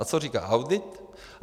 A co říká audit?